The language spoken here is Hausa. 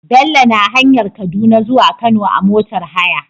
Bello na hanyar kaduna zuwa kano a motar haya